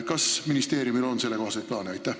Kas ministeeriumil on sellekohaseid plaane?